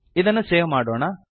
ಇದನ್ನು ಸೇವ್ ಮಾಡೋಣ